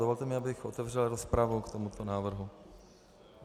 Dovolte mi, abych otevřel rozpravu k tomuto návrhu.